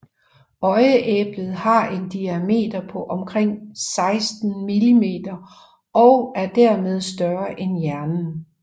Øjeæblet har en diameter på onkring 16 millimeter og er dermed større end hjernen